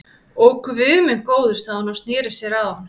Ó, guð minn góður sagði hún og sneri sér að honum.